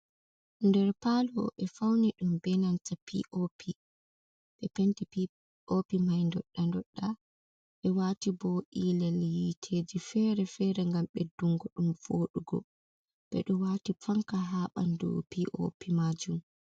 Nder paalo, ɓe fauni ɗum be nanta (p.o.p) penti p.o.p mai dodda dodda ɓe waati bo iilel hiteeji fere-fere gam ɓeddungo ɗum wodugo. ɓe ɗum waati panka ha ɓandu p.o.p maajum.